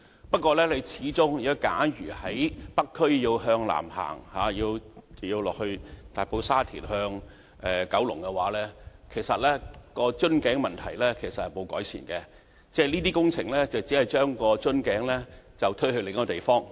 不過，假如我們在北區向南行往大埔、沙田或九龍方向，我們會看到瓶頸問題其實沒有得到改善，這些工程只不過將瓶頸推往另一個地方。